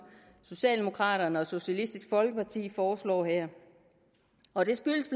socialdemokraterne og socialistisk folkeparti foreslår her og det skyldes